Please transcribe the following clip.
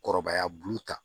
Kɔrɔbaya bulu ta